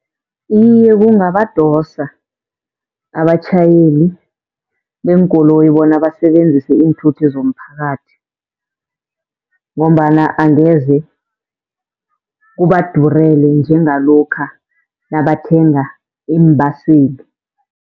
Iye kungabadosa abatjhayeli beenkoloyi bona basebenzise iinthuthi zomphakathi, ngombana angeze kubadurele njengalokha nabathenga iimbaseli.